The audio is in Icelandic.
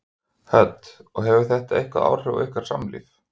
Hödd: Og hefur þetta eitthvað áhrif á ykkar samlíf?